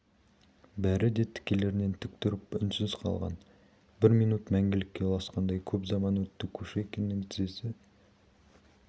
бәрі де тікелерінен тік тұрып үнсіз қалған бір минут мәңгілікке ұласқандай көп заман өтті кушекиннің тізесі